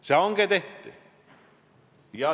See hange tehti.